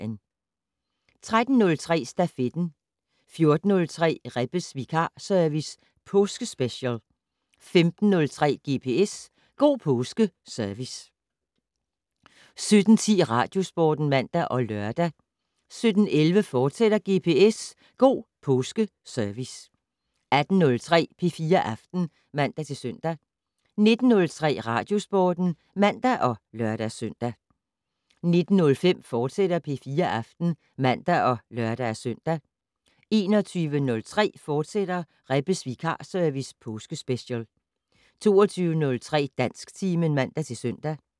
13:03: Stafetten 14:03: Rebbes vikarservice - påskespecial 15:03: GPS - God Påske Service 17:10: Radiosporten (man og lør) 17:11: GPS - God Påske Service, fortsat 18:03: P4 Aften (man-søn) 19:03: Radiosporten (man og lør-søn) 19:05: P4 Aften, fortsat (man og lør-søn) 21:03: Rebbes vikarservice - påskespecial * 22:03: Dansktimen (man-søn)